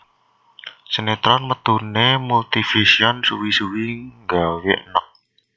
Sinetron metunane Multivision suwi suwi nggawe eneg